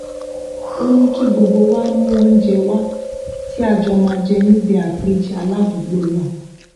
ó ní kí gbogbo wa mú oúnjẹ wá tí a jọ máa jẹ níbi àpèjẹ aládùúgbò náà